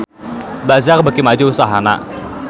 Bazaar beuki maju usahana